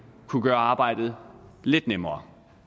kunne gøre arbejdet lidt nemmere